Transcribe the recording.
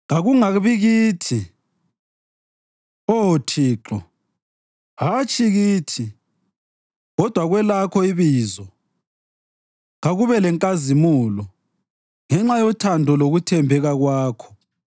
Kakungabi kithi, Oh Thixo, hatshi kithi kodwa kwelakho ibizo kakube lenkazimulo, ngenxa yothando lokuthembeka Kwakho.